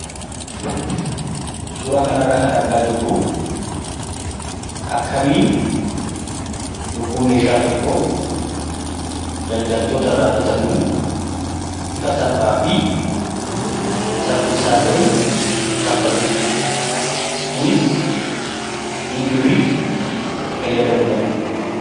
Suura kanarraa kan argaa jirru akkamiin yogguu meeshaa tokko daldaltootarraa bitannu bifa salphaa fi saffisaa ta'een kanfalludha. Kunis E-birrii fayyadamuudhaani.